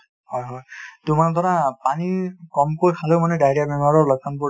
অ হয় , পানী কমকৈ খালেঁও মানে diarrhea বেমাৰৰ লক্ষ্যণবোৰ